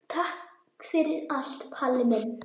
Takk fyrir allt, Palli minn.